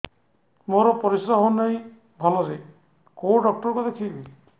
ମୋର ପରିଶ୍ରା ହଉନାହିଁ ଭଲରେ କୋଉ ଡକ୍ଟର କୁ ଦେଖେଇବି